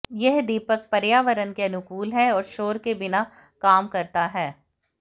यह दीपक पर्यावरण के अनुकूल है और शोर के बिना काम करता है